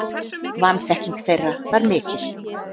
Vanþekking þeirra var mikil.